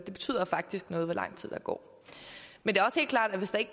det betyder faktisk noget hvor lang tid der går men det